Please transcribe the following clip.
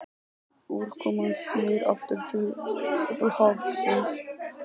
Úrkoman snýr aftur til upphafsins.